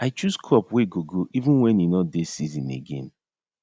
i chose crop wey go grow even wen e nor dey season again